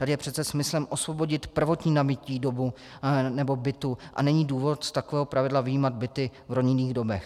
Tady je přece smyslem osvobodit prvotní nabytí domu nebo bytu a není důvod z takového pravidla vyjímat byty v rodinných domech.